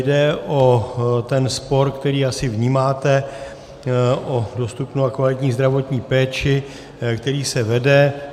Jde o ten spor, který asi vnímáte, o dostupnou a kvalitní zdravotní péči, který se vede.